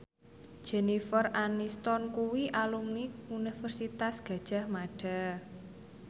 Jennifer Aniston kuwi alumni Universitas Gadjah Mada